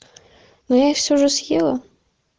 но я все уже съела